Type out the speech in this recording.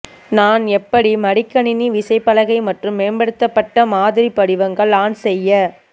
நான் எப்படி மடிக்கணினி விசைப்பலகை மற்றும் மேம்படுத்தப்பட்ட மாதிரி படிவங்கள் ஆன் செய்ய